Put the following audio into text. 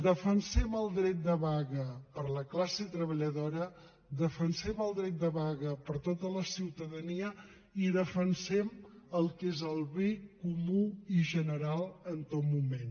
defensem el dret de vaga per a la classe treballadora defensem el dret de vaga per a tota la ciutadania i defensem el que és el bé comú i general en tot moment